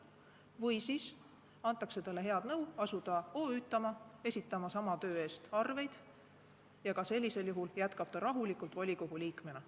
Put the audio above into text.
Või antakse talle head nõu asuda esitama sama töö eest arveid, ja ka sellisel juhul jätkab ta rahulikult volikogu liikmena.